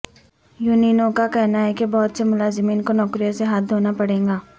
یونینوں کا کہنا ہے کہ بہت سے ملازمین کو نوکریوں سے ہاتھ دھونا پڑے گا